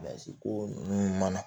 Mansinko ninnu mana